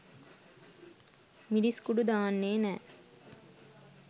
මිරිස්කුඩු දාන්නේ නෑ.